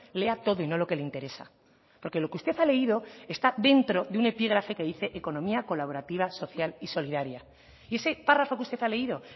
lea todo y no lo que le interesa porque lo que usted ha leído está dentro de un epígrafe que dice economía colaborativa social y solidaria y ese párrafo que usted ha leído